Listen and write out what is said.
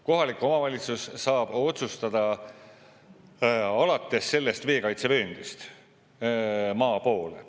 Kohalik omavalitsus saab otsustada alates sellest veekaitsevööndist maa poole.